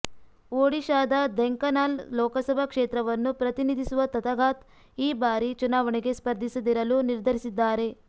ಒಡಿಶಾದ ಧೆಂಕನಾಲ್ ಲೋಕಸಭಾ ಕ್ಷೇತ್ರವನ್ನು ಪ್ರತಿನಿಧಿಸುವ ತಥಾಗತ್ ಈ ಬಾರಿ ಚುನಾವಣೆಗೆ ಸ್ಪರ್ಧಿಸದಿರಲು ನಿರ್ಧರಿಸಿದ್ದಾರೆ